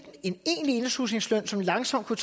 en egentlig indslusningsløn som langsomt kunne